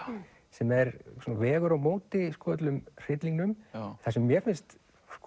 sem vegur á móti öllum hryllingnum það sem mér finnst